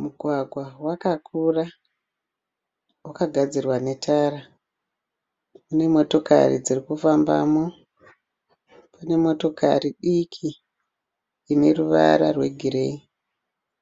Mugwagwa wakakura. Wakagadzirwa netara. Mune motokari dzirikufambamo. Pane motokari diki ine ruvara rwegireyi.